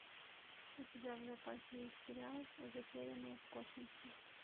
у тебя в запасе есть сериал затерянные в космосе